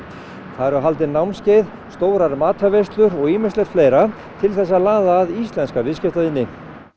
það eru haldin námskeið stórar matarveislur og ýmislegt fleira til þess að laða að íslenska viðskiptavini